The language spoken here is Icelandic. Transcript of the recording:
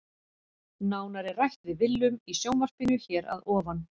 Nánar er rætt við Willum í sjónvarpinu hér að ofan.